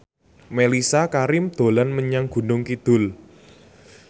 Mellisa Karim dolan menyang Gunung Kidul